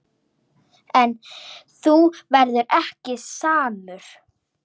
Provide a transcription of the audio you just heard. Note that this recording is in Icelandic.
En þú verður ekki samur.